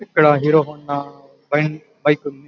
ఇక్కడ Hero Honda bike ఉంది ఇక్కడ --